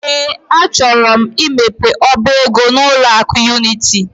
Ee, achọrọ m imepe ọba ego n'ụlọ akụ Unity.